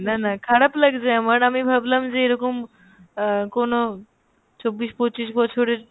না না খারাপ লাগছে আমার আমি ভাবলাম যে এইরকম আহ কোনো চব্বিশ পঁচিশ বছরের